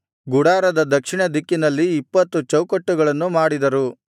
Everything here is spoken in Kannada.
ಗುಡಾರದ ದಕ್ಷಿಣದಿಕ್ಕಿನಲ್ಲಿ ಇಪ್ಪತ್ತು ಚೌಕಟ್ಟುಗಳನ್ನು ಮಾಡಿದರು